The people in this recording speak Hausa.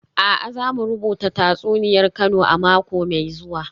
A'a, za mu rubuta tatsuniyar Kano a mako mai zuwa